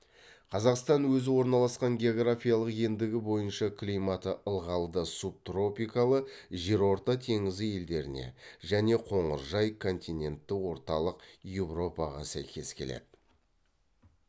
қазақстан өзі орналасқан географиялық ендігі бойынша климаты ылғалды субтропикалы жерорта теңізі елдеріне және қоңыржай континентті орталық еуропаға сәйкес келеді